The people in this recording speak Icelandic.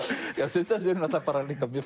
sumt af þessu er líka mjög